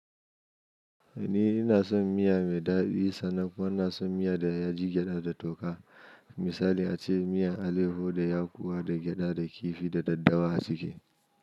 Ni ina son miya mai daɗi, sannan kuma ina son miya da ya ji gyaɗa da toka. Misali ace miyan aleho da ya kowa da gyaɗa da kifi da daddawa a ciki.